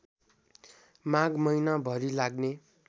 माघ महिनाभरि लाग्ने